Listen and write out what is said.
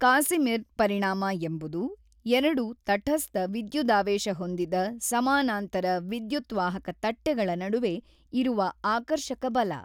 Casimir ಪರಿಣಾಮ ಎಂಬುದು ಎರಡು ತಠಸ್ಥ ವಿದ್ಯುದಾವೇಶ ಹೊಂದಿದ ಸಮಾನಾಂತರ ವಿದ್ಯುತ್ವಾಹಕ ತಟ್ಟೆಗಳ ನಡುವೆ ಇರುವ ಆಕರ್ಶಕ ಬಲ.